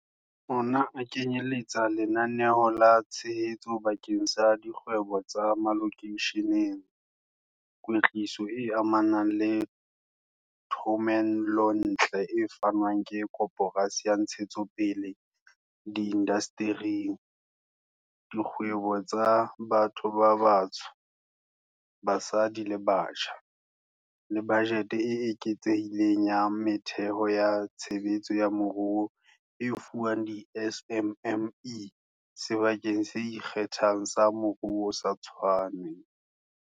Ona a kenyeletsa lenaneo la tshehetso bakeng sa dikgwebo tsa malokeisheneng, kwetliso e amanang le thomelontle e fanwang ke Koporasi ya Ntshetsopele ya Diindasteri IDC dikgwebong tsa batho ba batsho, basadi le batjha, le bajete e eketsehileng ya metheo ya tshebetso ya moruo e fuwang di-SMME Sebakeng se Ikgethang sa Moruo sa Tshwane.